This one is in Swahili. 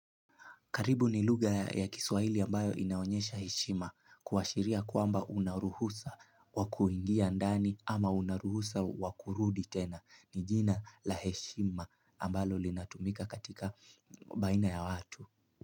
Karibu ni luga ya kiswaili ambayo inaonyesha heshima kuwashiria kwamba unaruhusa wakuingia ndani ama unaruhusa wakurudi tena. Nijina laheshima ambalo linatumika katika baina ya watu.